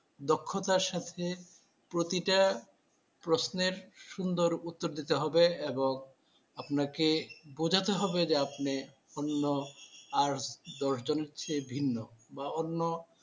দক্ষতার সাথে প্রতিটা প্রশ্নের সুন্দর উত্তর দিতে হবে এবং আপনাকে বোঝাতে হবে যে আপনি অন্য আট দশ জনের চেয়ে ভিন্ন বা অন্য